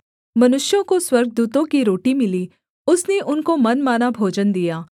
मनुष्यों को स्वर्गदूतों की रोटी मिली उसने उनको मनमाना भोजन दिया